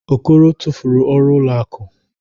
Okoro tụfuru ọrụ ụlọ akụ.